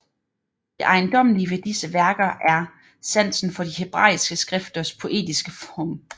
Det ejendommelige ved disse værker er sansen for de hebræiske skrifters poetiske form